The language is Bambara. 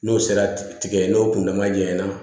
N'o sera tigɛ n'o kun dama ɲɛ na